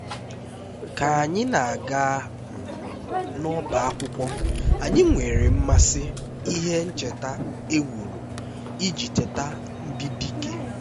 ka anyị na-aga um n'ọbá akwụkwọ anyị nwere mmasị n'ihe ncheta e wuru iji cheta ndị dike